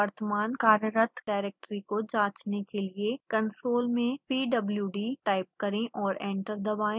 वर्तमान कार्यरत डाइरेक्टरी को जांचने के लिए कंसोल में pwd टाइप करें और एंटर दबाएं